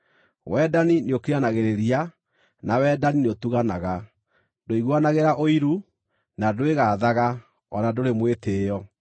Wendani nĩũkiranagĩrĩria, na wendani nĩũtuganaga. Ndũiguanagĩra ũiru, na ndwĩgaathaga, o na ndũrĩ mwĩtĩĩo.